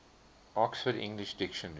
oxford english dictionary